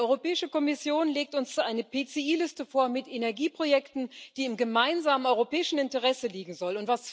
Die Europäische Kommission legt uns eine PCI Liste vor mit Energieprojekten, die im gemeinsamen europäischen Interesse liegen soll.